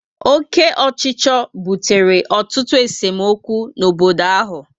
Oke ochicho butere ọtụtụ esemokwu n'obodo áhù